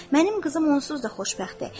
Mənim qızım onsuz da xoşbəxtdir.